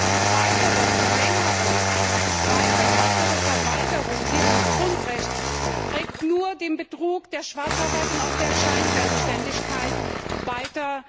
Eine weitere Verlängerung, eine weitere Verweigerung dieses Grundrechts trägt nur zu Betrug, zu Schwarzarbeit und auch zu Scheinselbstständigkeit bei.